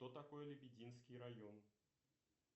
кто такой лебединский район